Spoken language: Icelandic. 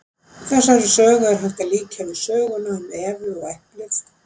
Þessari sögu er hægt að líkja við söguna um Evu og eplið.